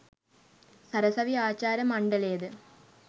සරසවි ආචාර්ය මණ්ඩලයද